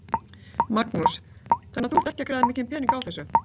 Magnús: Þannig að þú ert ekki að græða mikinn pening á þessu?